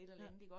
Ja